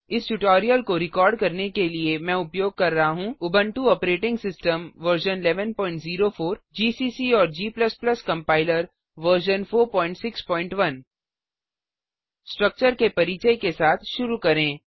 इस ट्यूटोरियल को रिकॉर्ड करने के लिए मैं उपयोग कर रहा हूँ Ubuntu operating system version 1104 GCC और g कंपाइलर वर्जन 461 स्ट्रक्चर के परिचय के साथ शुरू करें